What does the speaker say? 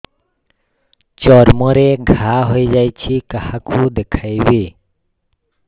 ଚର୍ମ ରେ ଘା ହୋଇଯାଇଛି କାହାକୁ ଦେଖେଇବି